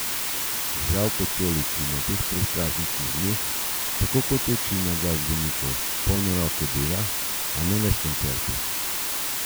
Zdravko Čolić ima v teh predprazničnih dneh tako kot večina glasbenikov polne roke dela, a ne le s koncerti.